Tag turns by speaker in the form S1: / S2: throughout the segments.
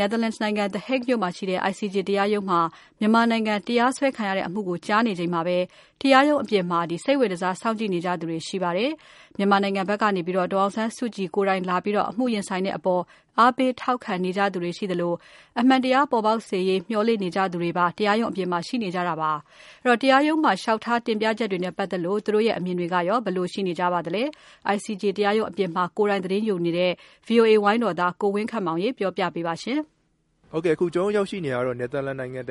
S1: Netherlands နိုင်ငံ The Hague မြို့က ICJ တရားရုံးမှာ မြန်မာနိုင်ငံ တရားစွဲခံရတဲ့အမှုကို ကြားနေချိန်မှာ တရားရုံးအပြင်မှာ စိတ်ဝင်တစားစောင့်ကြည့်နေသူတွေရှိပါတယ်။ မြန်မာနိုင်ငံဘက်ကနေပြီးတော့ ဒေါ်အောင်ဆန်းစုကြည်ကိုယ်တိုင်လာပြီးတော့ အမှုရင်ဆိုင်တဲ့အပေါ် အားပေးထောက်ခံနေသူတွေ ရှိသလို အမှန်တရားပေါ်ပေါက်စေရေး မျှော်လင့်နေကြသူတွေပါ တရားရုံးအပြင်မှာ ရှိနေတာပါ။ အဲဒီတော့ တရားရုံးမှာ လျှောက်ထား တင်ပြချက်တွေနဲ့ ပတ်သက်လို့ သူတို့အမြင်တွေ ဘယ်လိုရှိနေပါသလဲ ။ ICJ တရားရုံးအပြင်မှာသတင်းယူနေတဲ့ ကိုဝင်းခန့်မောင်က ပြောပြမှာပါ။ က
S2: ျနော်ရောက်ရှိတာကတော့ ICJ နိုင်ငံတ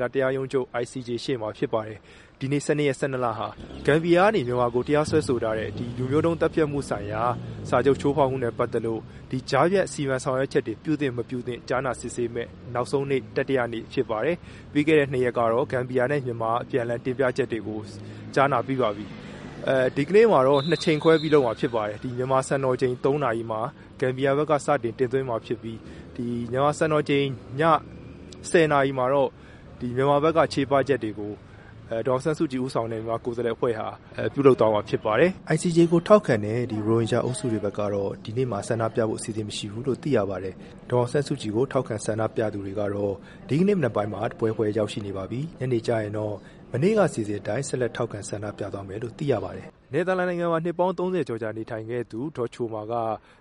S2: ကာ တရားရုံးချုပ်ရှေ့ဖြစ်ပါတယ်။ ဒီနေ့ ဂမ်ဘီယာကနေ မြန်မာကို တရားစွဲဆိုထားတဲ့ လူမျိုးတုံးသတ်ဖြတ်မှုဆိုင်ရာ စာချုပ်ချိုးဖောက်မှုနဲ့ ပတ်သက်ပြီးတော့ ကြားဖြတ်စီမံဆောင်ရွက်ချက်တွေ ပြုသင့် ၊မပြုသင့် ကြားနာစစ်ဆေးမယ့် နောက်ဆုံးနေ့ ဖြစ်ပါတယ်။ ပြီးခဲ့တဲ့ရက်ကတော့ ဂမ်ဘီယာနဲ့ မြန်မာ အပြန်အလှန်တင်ပြချက်တွေကို ကြားနာပြီးပါပြီ။ ဒီနေ့မှာတော့ ၂ ချိန်ခွဲပြီးလုပ်မှာဖြစ်ပါတယ်။ မြန်မာစံတော်ချိန် ၃ နာရီမှာ ဂမ်ဘီယာဘက်က စတင်တင်သွင်းမှာဖြစ်ပြီး၊ မြန်မာစံတော်ချိန် ည ၁၀ နာရီမှာတော့ မြန်မာဘက်က ချေပချက်တွေကို ဒေါ်အောင်ဆန်းစုကြည်ဦးဆောင်တဲ့ ကိုယ်စားလှယ်အဖွဲ့ တင်ပြမှာဖြစ်ပါတယ်။ ICJ ကို ထောက်ခံတဲ့ ရိုဟင်ဂျာ အုပ်စုတွေဘက်ကတော့ ဒီကနေ့ ဆန္ဒပြကြဖို့ အစီအစဉ်မရှိဘူးလို့ သိရပါတယ်။ ဒေါ်အောင်ဆန်းစုကြည်ကို ထောက်ခံအားပေးသူတွေကတော့ ဒီကနေ့မနက်မှာ တဖွဲဖွဲ ရောက်ရှိနေပြီး ညနေကျရင်တော့ မနေ့ကလို ဆက်လက်ထောက်ခံ ဆန္ဒပြကြမယ်လို့ သိရပါတယ်။ နယ်သာလန်နိုင်ငံမှာ နှစ်ပေါင်းသုံးဆယ်ကျော်ကြာနေထိုင်ခဲ့သူဒေါ်ချိုမာက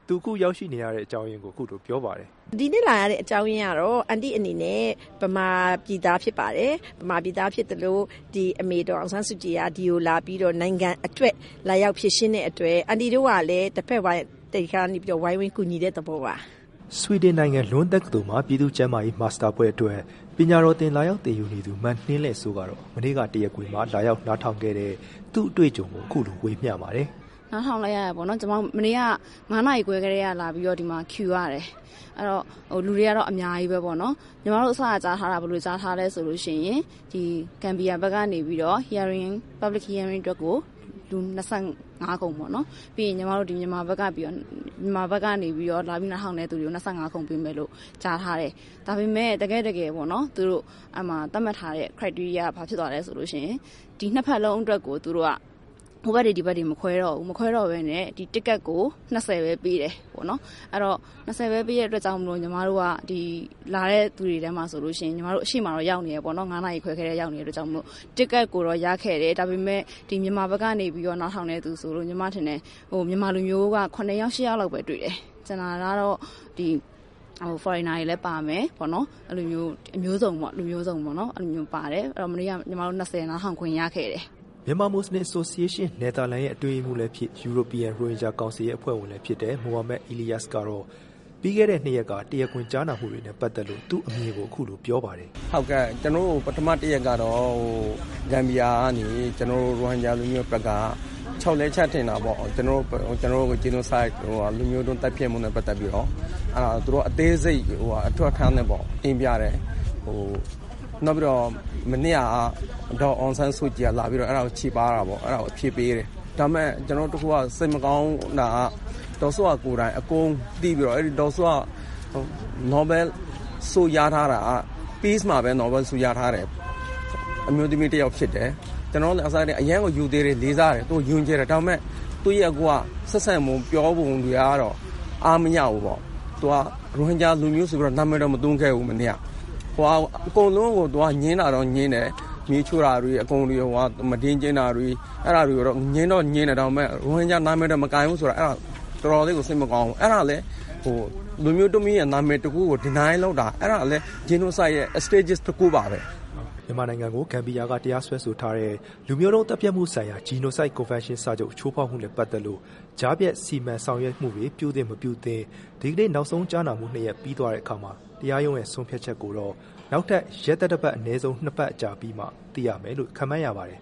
S2: သူအခု ရောက်ရှိလာရခြင်း အကြောင်းကို အခုလိုပြောပါတယ် “ဒီနေ့လာရ
S1: တဲ့ အကြောင်းအရင်းကတော့ အန်တီအနေနဲ့ မြန်မာပြည်သားဖြစ်ပါတယ်။ အမေဒေါ်အောင်ဆန်းစုကြည်ဟာ ဒီကိုလာပြီးတော့ နိုင်ငံအတွက် လာရောက်ဖြေရှင်းတဲ့အတွက် အန်တီတို့ကလည်း တဘက်ကနေပြီးတော့ ဝိုင်းဝန်းကူညီတဲ့ သဘောပါ။
S2: ” ဆွီဒင်နိုင်ငံ လွန်းတက္ကသိုလ်မှာ ပြည်သူ့ကျန်းမာရေးမာစတာဘွဲ့အတွက် ပညာတော်သင် လာရောက်သင်ယူနေသူ မလဲ့နှင်းစိုးကတော့ မနေ့က တရားခွင်မှာ လာရောက်နားထောင်ခဲ့ရတဲ့သူ့အတွေ့အကြုံကို အခုလို ဝေမျှပါတယ်။
S1: “မနေ့က ၅ နာရီခွဲလောက်ကတည်းက ဒီမှာ လာတန်းစီခဲ့ရတယ်၊ လူတွေကတော့ အများကြီးပဲပေါ့နော် ။ ညီမတို့ အစက ကြားထားတာက ဘယ်လိုကြားထားသလဲဆိုရင် ဂမ်ဘီယာဘက်ကနေပြီးတော့ public hearing အတွက်ကို လူ ၂၅ ခုံ၊ ပြီးရင် မြန်မာဘက်က လာပြီးနားထောင်သူတွေကို ၂၅ ခုံပေးမယ်လို့ ကြားထားတယ်။ ဒါပေမယ့် သူတို့ သတ်မှတ်ထားတဲ့ အချက်တွေကဘာဖြစ်သွားသလဲဆိုတော့ နှစ်ဖက်စလုံးအတွက်ကို ဟိုဘက်၊ ဒီဘက် မခွဲတော့ဘူး ပြီးတော့ ticket ကို ၂၀ ပဲ ပေးတယ်။ အဲဒီတော့ ၂၀ ပဲပေးတဲ့အတွက် ညီမတို့လာတဲ့သူတွေထဲမှာဆိုရင် ညီမတို့ အရှေ့မှာတော့ ရောက်နေတယ်ပေါ့နော်။ မနက် ၅ နာရီခွဲကတည်းက ရောက်နေတဲ့အတွက် ticket ကိုတော့ရခဲ့တယ် ။ ဒါပေမယ့် ဒီမြန်မာဘက်က နားထောင်တဲ့သူဆိုလို့ ညီမထင်တယ် မြန်မာလူမျိုး လူ ၇ ယောက် ၈ ယောက်လောက်ပဲ တွေ့တယ်။ ကျန်တာကတော့ လူမျိုးစုံပေါ့နော်။ အဲဒီတော့ မနေ့က ညီမတို့ လူ ၂၀ နားထောင်ခွင့်ရခဲ့တယ်။”
S2: မြန်မာမူလဆင် Association နယ်သာလန်ရဲ့ အတွင်းရေးမှူးလည်းဖြစ် European Rohingya Council ရဲ့ အဖွဲ့ဝင်လည်းဖြစ်တဲ့ မိုဟာမက်အီလီယာစ်ကတော့ ပြီးခဲ့တဲ့ နှစ်ရက်က တရားခွင်ကြားနာမှုတွေနဲ့ ပတ်သက်လို့ သူ့အမြင်ကို အခုလို ပြောပါတယ်။
S3: “ဟုတ်ကဲ့ ကျနော်တို့ ပထမ တရက်ကတော့ Gambia ကနေ ကျနော်တို့ ရိုဟင်ဂျာ လူမျိုးဘက်က လျှောက်လဲချက်တင်တာပေါ့။ ကျနော်တို့ Genocide လူမျိုးတုံးသတ်ဖြတ်မှုနဲ့ ပတ်သက်ပြီးတော့ သူတို့က အသေးစိတ် အထောက်အထားနဲ့ပေါ့ တင်ပြတယ်။ နောက်ပြီးတော့ မနေ့က ဒေါ်အောင်ဆန်းစုကြည်က လာပြီးတော့ အဲ့ဒါကို ချေပတာပေါ့။ အဲ့ဒါကို ဖြေပေးတယ်။ ဒါမဲ့ နောက်တခုက စိတ်မကောင်းတာက ဒေါ်စုက ကိုယ်တိုင် အကုန်သိပြီးတော့ ဒေါ်စုက နိုဘယ်လ်ဆုရထားတာက Peace မှာ နိုဘယ်လ်ဆု ရထားတဲ့ အမျိုးသမီး ဖြစ်တယ်။ ကျနော်တို့က အစထဲက ရိုသေတယ်၊ လေးစားတယ်၊ သူ့ကို ယုံကြည်တယ်။ ဒါပေမဲ့ သူ့ရဲ့ ဆက်ဆံပုံ၊ ပြောပုံတွေကတော့ အားမရဘူးပေါ့။ သူက ရိုဟင်ဂျာလူမျိုးဆိုပြီးတော့ နာမည်တောင် မသုံးခဲ့ဘူး မနေ့က။ အကုန်လုံးကို သူက ငြင်းတာတော့ ငြင်းတယ်။ မီးရှို့တာ၊ မုဒိမ်း ကျင့်တာတွေ အဲ့ဒါတွေကို ငြင်းတော့ ငြင်းတယ်။ ဒါပေမဲ့ ရိုဟင်ဂျာနာမည်တောင် မကိုင်ဘူးဆိုတော့ တော်တော်လေးကို စိတ်မကောင်းဘူး။ အဲ့ဒါလည်း လူမျိုးတခုရဲ့ နာမည် တခုကို Deny လုပ်တာ။ အဲ့ဒါလည်း Genocide ရဲ့ Stages တခုပါပဲ။" မြန်မာနိုင်ငံကို Gambia က တရားစ
S2: ွဲဆိုထားတဲ့ လူမျိုးတုံးသတ်ဖြတ်မှုဆိုင်ရာ Genocide Convention စာချုပ် ချိုးဖောက်မှုနဲ့ ပတ်သက်လို့ ကြားဖြတ် စီမံဆောင်ရွက်မှုတွေ ပြုသင့်၊ မပြုသင့်... ဒီကနေ့ နောက်ဆုံး ကြားနားမှုပြီးသွားတဲ့ အခါမှာ တရားရုံးရဲ့ ဆုံးဖြတ်ချက်ကိုတော့ နောက်ထပ် ရက် သတ္တပတ် ၂ ရက် အကြာ အပြီးမှာ သိရမယ်လို့ ခန့်မှန်းရပါတယ်